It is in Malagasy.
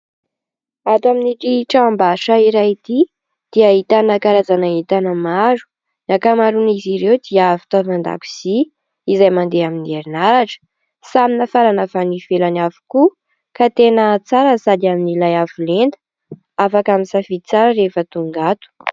Ato amin'ity tranom-barotra iray ity dia ahitana karazana entana maro, ny ankamaroan'izy ireo dia avy fitaovan-dakozy izay mandeha amin'ny herinaratra, samy nafarana avy any ivelany avokoa ka tena tsara sady amin'n'ilay avolenta, afaka misafidy tsara rehefa tonga ato.